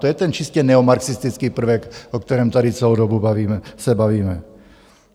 To je ten čistě neomarxistický prvek, o kterém tady celou dobu se bavíme.